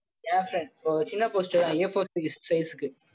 என் friend ஓ சின்ன poster தான் A4 size size க்கு